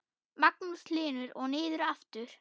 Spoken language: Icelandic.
Magnús Hlynur: Og niður aftur?